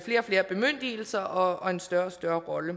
flere og flere bemyndigelser og en større og større rolle